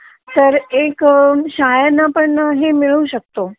तर एक शाळेनं पण हे मिळू शकत